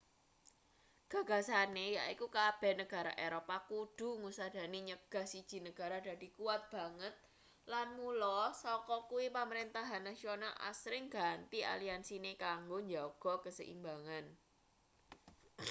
gagasane yaiku kabeh negara eropa kudu ngusadani nyegah siji negara dadi kuwat banget lan mula saka kuwi pamrentahan nasional asring ganti aliansine kanggo njaga kaseimbangan